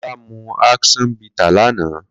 Kola mú àkṣọn bìtá lànã